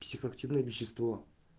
психоактивное вещество